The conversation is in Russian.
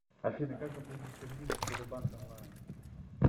афина как оплатить кредит в сбербанк онлайн